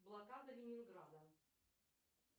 блокада ленинграда